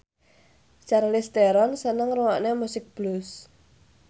Charlize Theron seneng ngrungokne musik blues